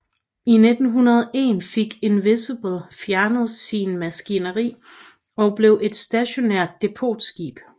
I 1901 fik Invincible fjernet sin maskineri og blev et stationært depotskib